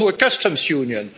No' to a Customs Union.